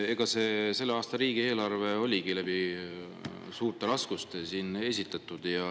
Selle aasta riigieelarve esitatigi läbi suurte raskuste.